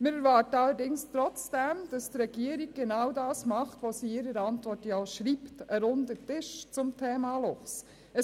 Wir erwarten allerdings trotzdem, dass die Regierung genau das tut, was sie in ihrer Antwort schreibt: ein runder Tisch zum Thema Luchs.